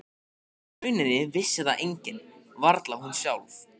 Í rauninni vissi það enginn, varla hún sjálf.